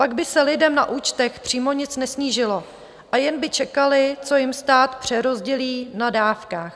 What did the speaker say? Pak by se lidem na účtech přímo nic nesnížilo a jen by čekali, co jim stát přerozdělí na dávkách.